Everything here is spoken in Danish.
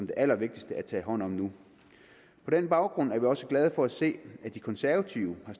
det allervigtigste at tage hånd om nu på den baggrund er vi også glade for at se at de konservative har